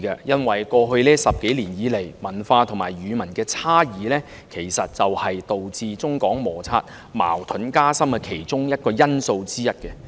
因為在過去10多年來，文化和語文差異其實是導致中港摩擦，矛盾加深的其中一個因素。